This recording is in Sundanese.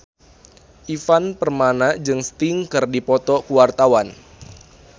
Ivan Permana jeung Sting keur dipoto ku wartawan